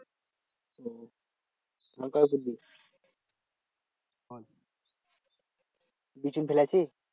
বিচন ফেলেছিস?